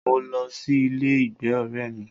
Mo lọ sí ilé ìgbé ọrẹ́ mí.